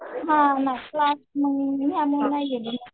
हां क्लास त्यामुळे नाही गेले.